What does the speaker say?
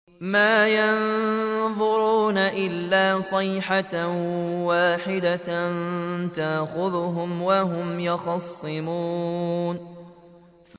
مَا يَنظُرُونَ إِلَّا صَيْحَةً وَاحِدَةً تَأْخُذُهُمْ وَهُمْ يَخِصِّمُونَ